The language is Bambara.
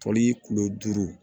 Toli kulo duuru